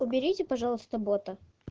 уберите пожалуйста бота